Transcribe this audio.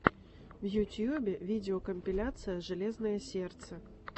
в ютьюбе видеокомпиляция железное сердце